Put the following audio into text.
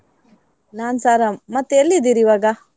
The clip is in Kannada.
ನಾನ್ಸ ಆರಾಮ್, ಮತ್ತೆ ಎಲ್ಲಿದ್ದೀರಿ ಇವಾಗ?